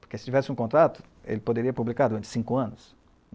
Porque se tivesse um contrato, ele poderia publicar durante cinco anos.